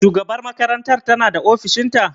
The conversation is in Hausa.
Shugabar makaranta ta na ofishin ta?